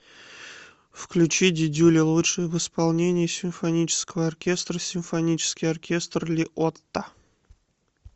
включи дидюля лучшее в исполнении симфонического оркестра симфонический оркестр ли отта